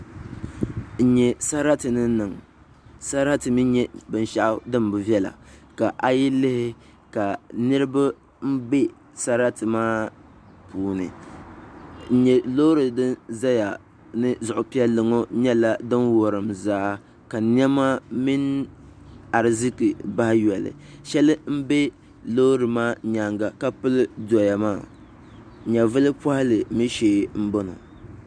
N nyɛ sarati ni niŋ sarati mii nyɛla binshaɣu din bi viɛla ka a yi lihi ka niraba bɛ sarati maa puuni n nyɛ loori ni ʒɛya ni zuɣu piɛlli ŋɔ nyɛla din wurim zaa ka niɛma mini ariziki bahi yɔli shɛli n do loori maa nyaanga ka pili doya maa nyɛvuli pohali mii shee n bɔŋɔ